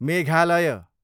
Meghalaya